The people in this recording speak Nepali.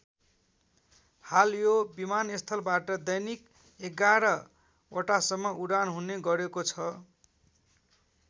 हाल यो विमानस्थलबाट दैनिक एघार वटासम्म उडान हुने गरेको छ।